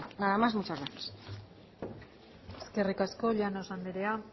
nada más muchas gracias eskerrik asko llanos andrea